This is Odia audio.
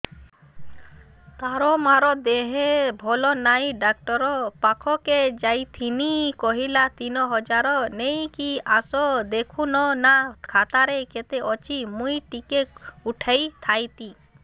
ତାର ମାର ଦେହେ ଭଲ ନାଇଁ ଡାକ୍ତର ପଖକେ ଯାଈଥିନି କହିଲା ତିନ ହଜାର ନେଇକି ଆସ ଦେଖୁନ ନା ଖାତାରେ କେତେ ଅଛି ମୁଇଁ ଟିକେ ଉଠେଇ ଥାଇତି